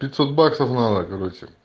пятьсот баксов надо короче